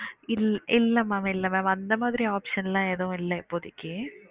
இல்ல இல்ல mam இல்ல mam அந்த மாரி option எல்லாம் எதுவும் இல்ல இப்போதைக்கு